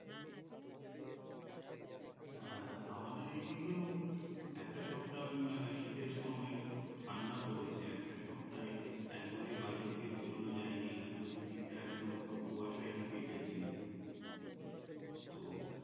হ্যা আমাদের ঐদিকেও একটা সপ্তাহ উম শীতের সময় খুব ঠান্ডা পড়েছে একটা সপ্তাহ একদমই বাড়ি থেকে বেড়ানো যায় নি আর চতুর্র্দিকটা একদম পুরো কুয়াশায় ঢেকে গেছিল তো